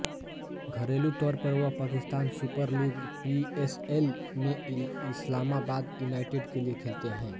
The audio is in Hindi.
घरेलू तौर पर वह पाकिस्तान सुपर लीग पीएसएल में इस्लामाबाद यूनाइटेड के लिए खेलते हैं